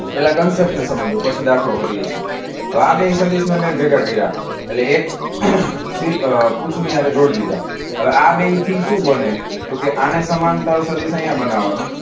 પહેલા કન્સેપ્ટને સમજો પછી દાખલ કરીએ છીએ. હવે આ બે સદિશને મેં ભેગા કર્યા એટલે એક પૂછની હારે જોડી દીધા હવે આ બેવથી શું બને છે? તો કે આને સમાંતર સદિશ અહીંયા બનાવવાનો.